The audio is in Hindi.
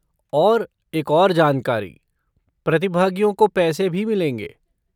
और एक और जानकारी, प्रतिभागियों को पैसे भी मिलेंगे।